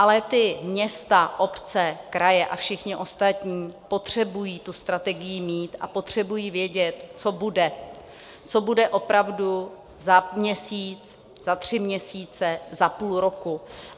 Ale ta města, obce, kraje a všichni ostatní potřebují tu strategii mít a potřebují vědět, co bude, co bude opravdu za měsíc, za tři měsíce, za půl roku.